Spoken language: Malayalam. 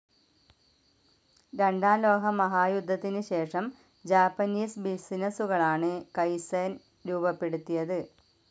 രണ്ടാം ലോകമഹായുദ്ധത്തിനുശേഷം ജാപ്പനീസ് ബിസിനസ്സുകളാണ് കൈസ്സെൻ രൂപപ്പെടുത്തിയത്.